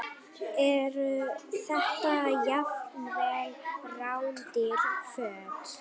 Eru þetta jafnvel rándýr föt?